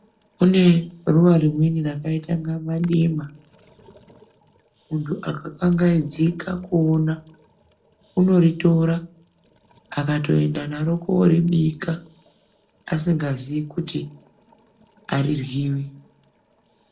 Kune ruwa rimweni rakaita inga madima, muntu akakangaidzika kuona unoritora akatoenda naro kooribika, asingazii kuti ariryiwi.